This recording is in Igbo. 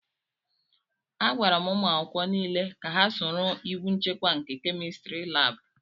Agwara umu akwukwo n'ile ka ha soro iwu nchekwa nke kémistiri láábu